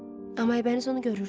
Amma Aybəniz onu görürdü.